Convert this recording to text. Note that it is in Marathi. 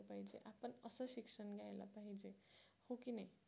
हो की नाही